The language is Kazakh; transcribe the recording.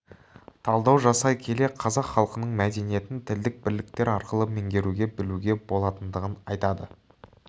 талдау жасай келе қазақ халқының мәдениетін тілдік бірліктер арқылы меңгеруге білуге болатындығын айтады